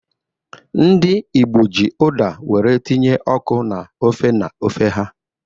Ndị Igbo ji Uda were tinye ọkụ na ofe na ofe ha.